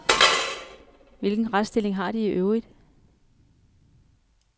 Hvilken retsstilling har de iøvrigt?